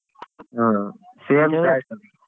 ಹಾ same .